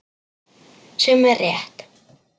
Sem er rétt.